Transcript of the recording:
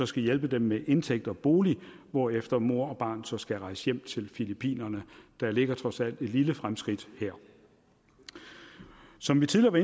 skal hjælpe dem med indtægt og bolig hvorefter mor og barn så skal rejse hjem til filippinerne der ligger trods alt et lille fremskridt her som vi tidligere